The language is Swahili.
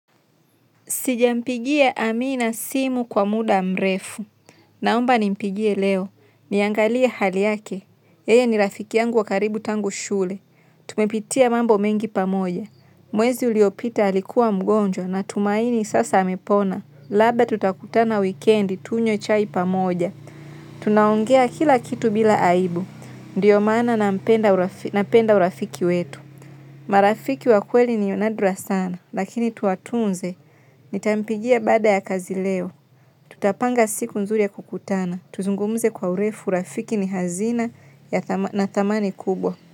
Sijampigia amina simu kwa muda mrefu. Naomba nimpigie leo. Niangalia hali yake. Yeye ni rafiki yangu wakaribu tangu shule. Tumepitia mambo mengi pamoja. Mwezi uliopita alikuwa mgonjwa natumaini sasa amepona. Labda tutakutana wikendi tunywe chai pamoja. Tunaongea kila kitu bila aibu ndio maana nampenda urafi napenda urafiki wetu. Marafiki wa kweli nionadra sana. Lakini tuwatunze. Nitampigia baada ya kazi leo. Tutapanga siku nzuri ya kukutana. Tuzungumze kwa urefu urafiki ni hazina na thamani kubwa.